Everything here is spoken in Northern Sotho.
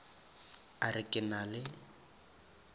a re ke na le